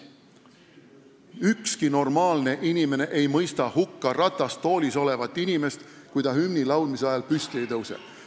Ükski normaalne inimene ei mõista hukka ratastoolis olevat inimest, kui ta hümni laulmise ajal püsti ei tõuse.